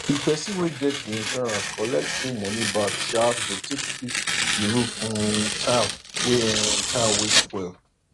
di person wey get di insurance collect full money back sha to take fix di roof um tile wey um tile wey spoil